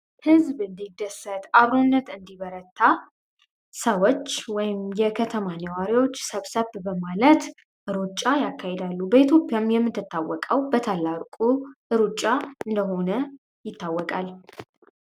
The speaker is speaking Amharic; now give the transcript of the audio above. ሕዝብ እንዲደሳት አብሩነት እንዲበረታ ሰወች ወይም የከተማ ነዋሪዎች ሰብሰብ በማለት እሩጫ ያካሄዳሉ ኢትዮጵያም የምንትታወቃው በታላርቁ እሩጫ እንደሆነ ይታወቃል።